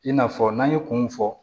I n'a fɔ n'an ye kun mun fɔ